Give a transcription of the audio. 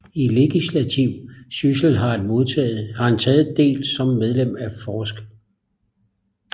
I legislativ Syssel har han taget Del som Medlem af forsk